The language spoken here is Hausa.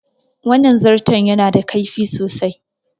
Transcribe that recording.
Wannan zarton ya na da kaifi sosai